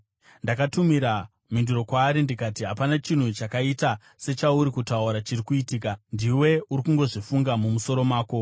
Ndakatumira mhinduro kwaari ndikati, “Hapana chinhu chakaita sechauri kutaura chiri kuitika; ndiwe uri kungozvifunga mumusoro mako.”